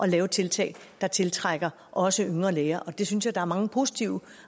lave tiltag der tiltrækker også yngre læger det synes jeg der er mange positive